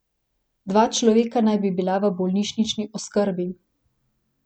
Dva človeka naj bi bila v bolnišnični oskrbi.